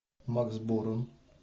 макс борн